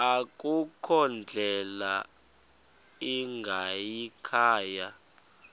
akukho ndlela ingayikhaya